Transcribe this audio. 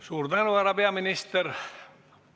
Suur tänu, härra peaminister!